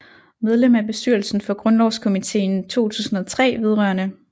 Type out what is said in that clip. Medlem af bestyrelsen for Grundlovskomiteen 2003 vedr